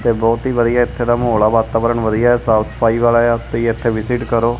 ਤੇ ਬਹੁਤ ਹੀ ਵਧੀਆ ਇੱਥੇ ਦਾ ਮਾਹੌਲ ਆ ਵਾਤਾਵਰਨ ਵਧੀਆ ਸਾਫ ਸਫਾਈ ਵਾਲਾ ਆ ਤੁਸੀਂ ਇੱਥੇ ਵਿਜਿਟ ਕਰੋ।